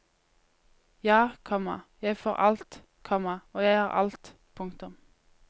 Ja, komma jeg får alt, komma og jeg har alt. punktum